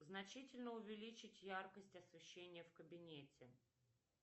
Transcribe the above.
значительно увеличить яркость освещения в кабинете